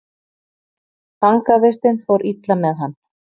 Fangavistin fór illa með hann.